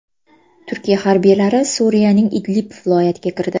Turkiya harbiylari Suriyaning Idlib viloyatiga kirdi.